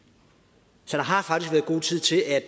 så der har faktisk været god tid til at